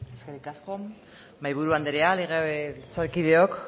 eskerrik asko mahaiburu andrea legebiltzarkideok